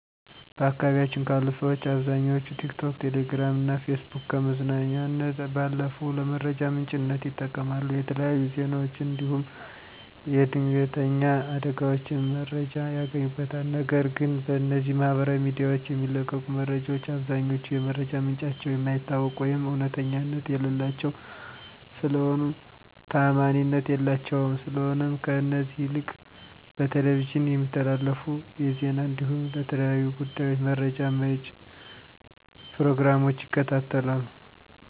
በአካባቢያችን ካሉ ሠዎች አብዛኛዎቹ ቲክቶክ፣ ቴሌግራም እና ፌስቡክን ከመዝናኛነት ባለፉ ለመረጃ ምንጭነት ይጠቀማሉ። የተለያዩ ዜናዎችን እንዲሁም የድንተኛ አደጋዎችን መረጃ ያገኙበታል፤ ነገር ግን በእነዚህ ማህበራዊ ሚዲያዎች የሚለቀቁ መረጃዎች አብዛኛዎቹ የመረጃ ምንጫቸው የማይታወቅ ወይም እውነተኛነት የሌላቸው ስለሆኑ ታዓማኒነት የላቸውም፤ ስለሆነም ከእነዚህ ይልቅ በቴሌቪዥን የሚተላለፉ የዜና እንዲሁም ለተለያዩ ጉዳዮች መረጃ መጪ ፕሮግራሞችን ይከታተላሉ።